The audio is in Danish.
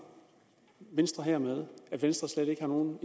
venstre hermed at venstre slet ikke har nogen